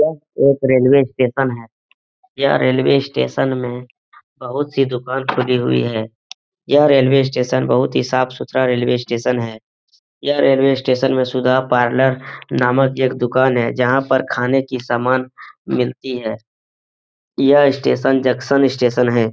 यह एक railway station है। यह रेलवे स्टेशन में बहुत सी दुकान खुली हुई है। यह रेलवे स्टेशन बहुत ही साफ़-सुथरा रेलवे स्टेशन है। यह रेलवे स्टेशन में सुधा पार्लर नामक एक दुकान है जहाँ पर खाने की सामान मिलती है। यह स्टेशन जंक्शन स्टेशन है ।